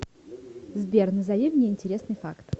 сбер назови мне интересный факт